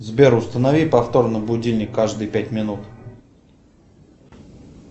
сбер установи повторно будильник каждые пять минут